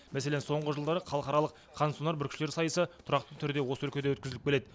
мәселен соңғы жылдары халықаралық қансонар бүркітшілер сайысы тұрақты түрде осы өлкеде өткізіліп келеді